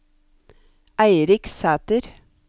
Eirik Sæter